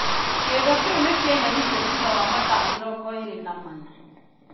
Kĩndo kĩu nĩ kĩeheririo thutha wa mathaa mĩrongo eerĩ na mana.